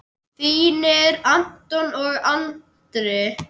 Þínir Anton og Andri.